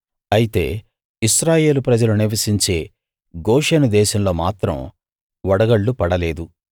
అయితే ఇశ్రాయేలు ప్రజలు నివసించే గోషెను దేశంలో మాత్రం వడగళ్ళు పడలేదు